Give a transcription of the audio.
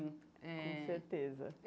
É Com certeza.